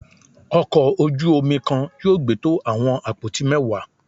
ọkò ojú omí kan yóò gbé to awọn apoti mẹwa.